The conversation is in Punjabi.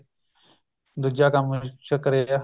ਦੂਜਾ ਕੰਮ ਚ ਕਰਿਆ